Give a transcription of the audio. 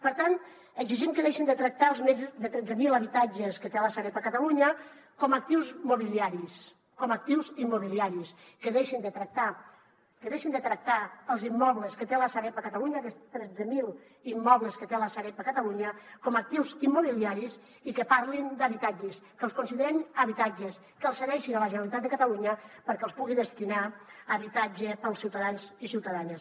per tant exigim que deixin de tractar els més de tretze mil habitatges que té la sareb a catalunya com a actius immobiliaris com a actius immobiliaris que deixin de tractar els immobles que té la sareb a catalunya aquests tretze mil immobles que té la sareb a catalunya com a actius immobiliaris i que parlin d’habitatges que els considerin habitatges que els cedeixin a la generalitat de catalunya perquè els pugui destinar a habitatge per als ciutadans i ciutadanes